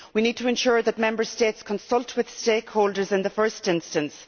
We need to ensure that Member States consult with stakeholders in the first instance.